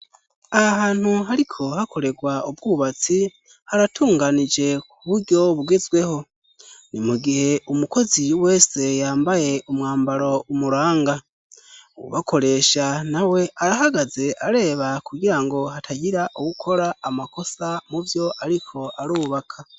Aha hantu hariko hakoregwa ubwubatsi haratunganije ku buryo bugezweho ni mu gihe umukozi wese yambaye umwambaro umuranga uwubakoresha na we arahagaze areba kugira ngo hatagira uwukora amakosa mubyo ariko arubaka.